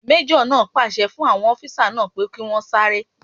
Majo naa pàṣẹ fún àwọn ọfisa pé kí wọ́n sáré